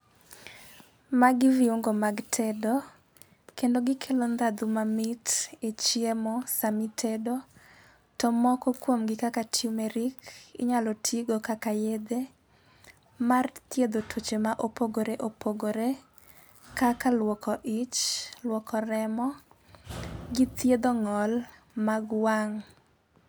Magi viungo mag tedo kendo gikelo ndadhu mamit e chiemo sami tedo to moko kuom gi kaka tumeric. Inyalo tigo kaka yedhe mar thiedho tuoche mopogore opogore kaka luoko ich, luoko remo gi thiedho ng'ol mag wang'.